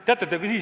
Aitäh!